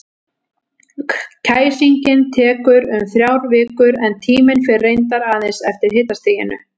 Kæsingin tekur um þrjár vikur, en tíminn fer reyndar aðeins eftir hitastiginu.